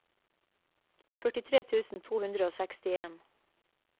førtitre tusen to hundre og sekstien